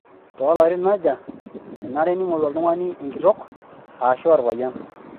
Toolarin aja enare neingoru oltungani enkitok aashu olpayian?